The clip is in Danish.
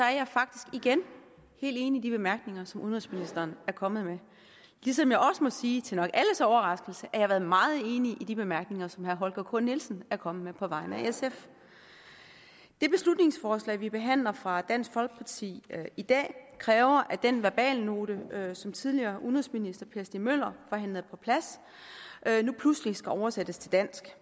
er jeg faktisk igen helt enig i de bemærkninger som udenrigsministeren er kommet med ligesom jeg også må sige nok til alles overraskelse at jeg har været meget enig i de bemærkninger som herre holger k nielsen er kommet med på vegne af sf det beslutningsforslag vi behandler fra dansk folkeparti i dag kræver at den verbalnote som tidligere udenrigsminister per stig møller forhandlede på plads nu pludselig skal oversættes til dansk